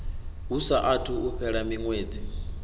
hu saathu u fhela miṅwedzi